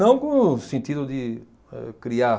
Não com o sentido de âh criar